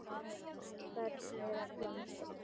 Af börnum þeirra komust upp